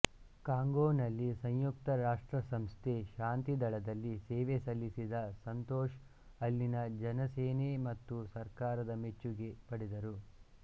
Congo ನಲ್ಲಿ ಸಂಯುಕ್ತರಾಷ್ಟ್ರಸಂಸ್ಥೆ ಶಾಂತಿ ದಳದಲ್ಲಿ ಸೇವೆ ಸಲ್ಲಿಸಿದ ಸಂತೋಷ್ ಅಲ್ಲಿನ ಜನಸೇನೆ ಮತ್ತು ಸರ್ಕಾರದ ಮೆಚ್ಚುಗೆ ಪಡೆದರು